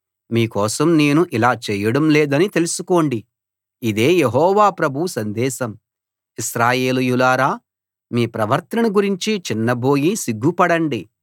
మీ కోసం నేను ఇలా చేయడం లేదని తెలుసుకోండి ఇదే యెహోవా ప్రభువు సందేశం ఇశ్రాయేలీయులారా మీ ప్రవర్తనను గురించి చిన్నబోయి సిగ్గుపడండి